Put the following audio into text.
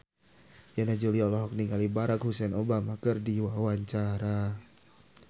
Yana Julio olohok ningali Barack Hussein Obama keur diwawancara